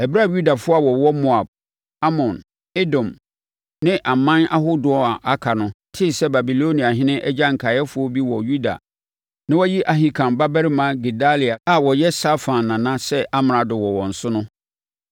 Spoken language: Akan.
Ɛberɛ a Yudafoɔ a wɔwɔ Moab, Amon, Edom ne aman ahodoɔ a aka no, tee sɛ Babiloniahene agya nkaeɛfoɔ bi wɔ Yuda na wayi Ahikam babarima Gedalia a ɔyɛ Safan nana sɛ amrado wɔ wɔn so no,